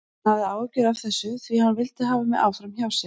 Hann hafði áhyggjur af þessu því hann vildi hafa mig áfram hjá sér.